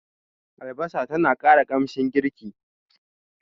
Albasa tana ƙara kamshin girki.